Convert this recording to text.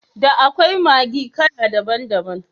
Da akwai Maggi kala daban daban.